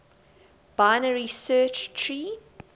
binary search tree